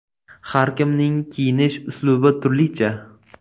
Har kimning kiyinish uslubi turlicha.